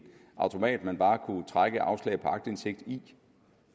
automat man bare kunne trække afslag på aktindsigt i